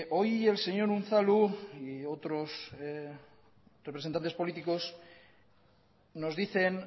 hoy el señor unzalu y otros representantes políticos nos dicen